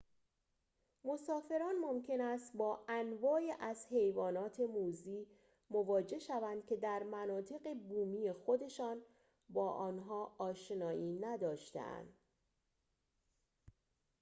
مسافران ممکن است با انواعی از حیوانات موذی مواجه شوند که در مناطق بومی خودشان با آنها آشنایی نداشته‌اند